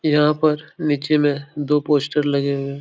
यहाँ पर नीचे में दो पोस्टर लगे हुए हैं।